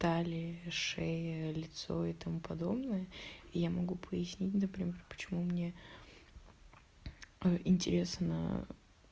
талия шея лицо и тому подобное я могу пояснить например почему мне а интересно